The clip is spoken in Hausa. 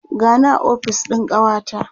gani a ofis ɗin kawata